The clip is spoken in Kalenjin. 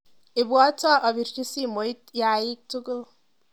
Ibwatwa apirchi simoit yaik tukul.